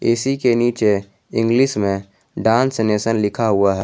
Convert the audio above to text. AC के नीचे English में डांस नेशन लिखा हुआ है।